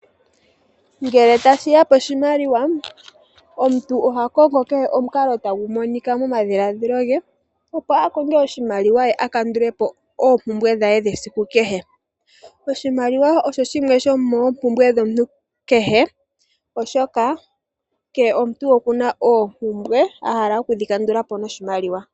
Ngele tashiya poshimaliwa omuntu oha kongo kehe omukalo tagu monika momadhiladhilo ge opo akonge oshimaliwa ye akandulepo oompumbwe dhe dhesiku kehe . Oshimaliwa osho shimwe shomoompumbwe h dhomuntu kehe opo oshoka kehe omuntu okuna oompumbwe ahala okudhikandulapo noshimaliwa.